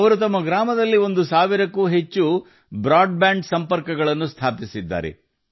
ಅವರು ತಮ್ಮ ಗ್ರಾಮದಲ್ಲಿ ಒಂದು ಸಾವಿರಕ್ಕೂ ಹೆಚ್ಚು ಬ್ರಾಡ್ಬ್ಯಾಂಡ್ ಸಂಪರ್ಕಗಳನ್ನು ಸ್ಥಾಪಿಸಿದ್ದಾರೆ